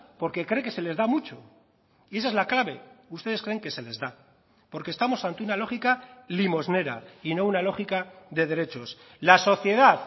porque cree que se les da mucho y esa es la clave ustedes creen que se les da porque estamos ante una lógica limosnera y no una lógica de derechos la sociedad